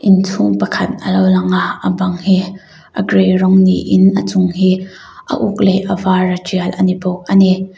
inchhung pakhat alo lang a a bang hi a gray rawng niin a chung hi a uk leh a var a tial ani bawk ani.